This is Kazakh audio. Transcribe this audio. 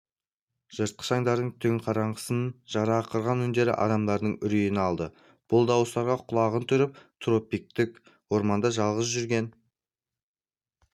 жыртқыш аңдардың түн қараңғысын жара ақырған үндері адамдардың үрейін алды бұл дауыстарға құлағын түріп тропиктік орманда жалғыз жүрген